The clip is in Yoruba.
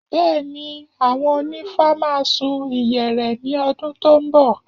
Bẹ́ẹ̀ni, àwọn onífá máa sun ìyẹ̀rẹ̀ ní ọdún tó ń bọ̀